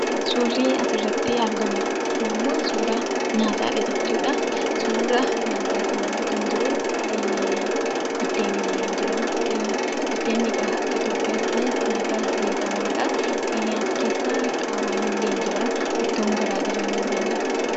Suurri asirratti argamu kunimmoo suuraa nyaataadha jechuudha. Suura nyaataa kanarra kan jiru buddeen illee ni jiraa. Buddeenni egaa akka Itoophiyaatti nyaata beekamaadha. Nyaata keessa qaaraan, ittoon garaagaraan illee ni jira.